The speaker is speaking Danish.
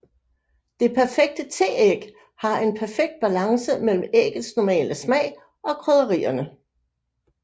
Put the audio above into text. Det perfekte teæg har en perfekt balance mellem æggets normale smag og krydderierne